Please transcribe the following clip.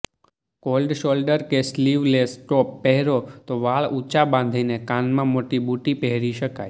cold shoulder કે sleeveless top પહેરો તો વાળ ઊંચા બાંધીને કાનમાં મોટી બુટ્ટી પહેરી શકાય